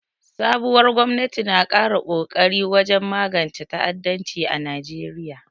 Sabuwar gwamnati na ƙara kokari wajen magance ta'addanci a Najeriya.